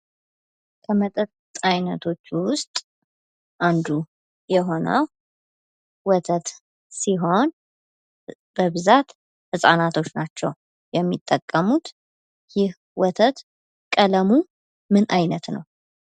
ከመጠጥ አይነቶች ውስጥ አንዱ የሆነው ወተት ሲሆን በብዛት ህጻናቶች ናቸው የሚጠቀሙት ይህ ወተት ቀለሙ ምን አይነት ነው?